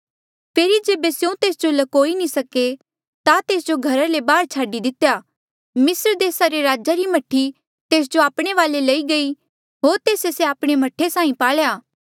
फेरी जेबे स्यों तेस जो ल्कोई नी सके ता तेस जो घरा रे बाहर छाडी दितेया मिस्र देसा रे राजे री मह्ठी तेस जो आपणे वाले लई गयी होर तेस्से से आपणा मह्ठे साहीं पाल्या